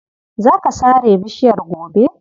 Za ka sare bishiyar gobe.